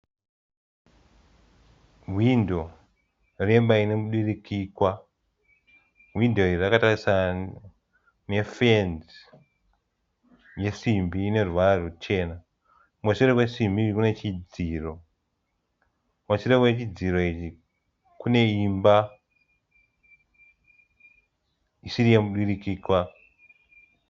Hwindo remba inemudurikikwa. Hwindo iri rakatarisana nefenzi nesimbi ineruvara ruchena. Kumashure kwesimbi iyi kunechidziro. Kumashure kwechidziro ichi kune imba isiri yemudurikikwa.